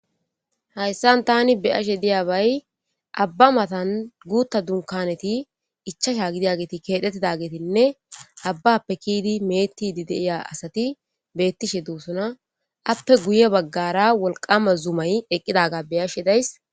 hayssan tani beyashe diyabay abba matan guta dunkaneti ichasha gidiyageeti kethetidagetinne abbappe kiidi me'etidi de'iya asati betishe dosona ,appe guye baggara wolqama zumay eqqidaga beyashe days.